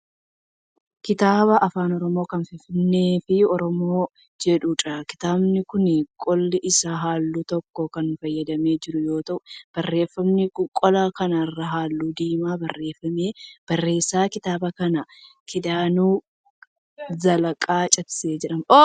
Kitaaba afaan Oromoo kan Finfinnee fi Oromoo jedhuudha. Kitaabni kun qolli isaa halluu tokkoon kan faayyamee jiru yoo ta'u barreeffamni qola kana irraa halluu diimaan barreeffame. Barreessaan kitaaba kanaa Kidaanuu Zallaqaa Ciibsaa jedhama.